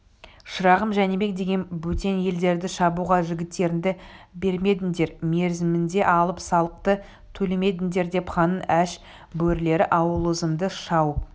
шырағым жәнібек деген бөтен елдерді шабуға жігіттеріңді бермедіңдер мерзімінде алым-салықты төлемедіңдер деп ханның аш бөрілері аулымызды шауып